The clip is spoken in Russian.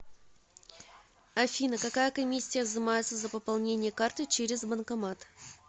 афина какая комиссия взимается за пополнение карты через банкомат